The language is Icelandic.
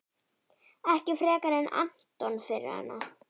Ekki frekar en Anton fyrir hana.